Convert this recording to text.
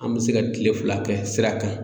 An bɛ se ka kile fila kɛ sira kan